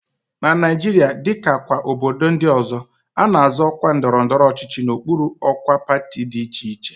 Na Naijiria, dịka kwa obodo ndị ọzọ, a na-azọ ọkwa ndọrọndọrọ ọchịchị n'okpuru ọkwa pati dị iche iche